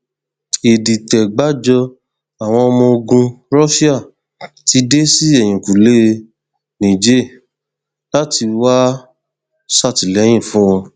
ìdìtẹgbájọ àwọn ọmọ ogun russia ti dé sí ẹyìnkùlé niger láti wáá ṣàtìlẹyìn fún wọn